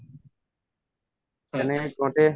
তেনেকে কওঁতে